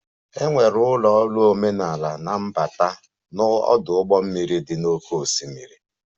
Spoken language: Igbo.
E nwere ụlọ ọrụ omenala na mbata na ọdụ ụgbọ mmiri dị n'oké osimiri.